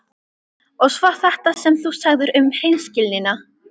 Og svo þetta sem þú sagðir um hreinskilnina.